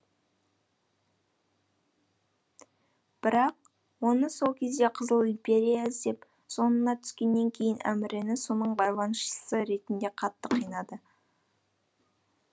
бірақ оны сол кезде қызыл империя іздеп соңына түскеннен кейін әмірені соның байланысшысы ретінде қатты қинады